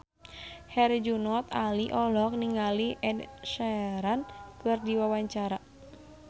Herjunot Ali olohok ningali Ed Sheeran keur diwawancara